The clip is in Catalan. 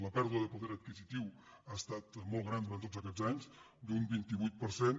la pèrdua de poder adquisitiu ha estat molt gran durant tots aquests anys d’un vint vuit per cent